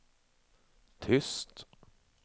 tyst